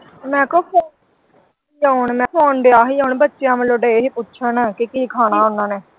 ਮੈਂ ਕਿਉਂ ਫਿਰ ਬੱਚਿਆਂ ਵੱਲੋਂ ਦਏ ਹੀ ਪੁੱਛਣ ਕੇ ਕੀ ਖਾਣਾ ਓਹਨਾ ਨੇ।